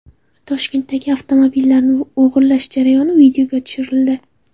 Toshkentdagi avtomobillarni o‘g‘irlash jarayoni videoga tushirildi.